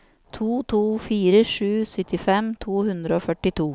to to fire sju syttifem to hundre og førtito